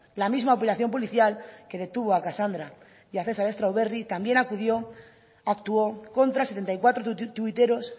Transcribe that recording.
la misma operación policial que detuvo a casandra y a cesar strawberry también actuó contra setenta y cuatro tuiteros